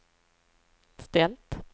ställt